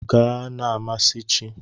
Gaa na-amasị chi!